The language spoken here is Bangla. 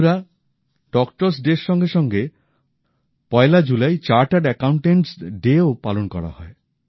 বন্ধুরা ডক্টরস ডে র সঙ্গে সঙ্গে পয়লা জুলাই চার্টার্ড অ্যাকাউন্টেটস ডেও পালন করা হয়